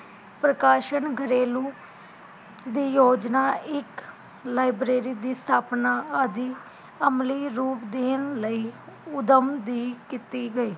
ਪ੍ਰਕਾਸ਼ਣ ਗਰੇਲੂ ਦੀ ਯੋਜਨਾ ਇਕ library ਦੀ ਸਥਾਪਨਾ ਆਦਿ ਅਮਲੀ ਰੂਪ ਦੇਣ ਲਈ ਊਧਮ ਦੀ ਕੀਤੀ ਗਈ